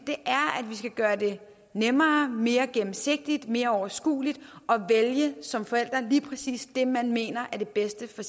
er gøre det nemmere mere gennemsigtigt mere overskueligt som forældre at vælge lige præcis det man mener er det bedste for